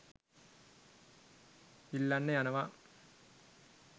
ඉල්ලන්න යනවා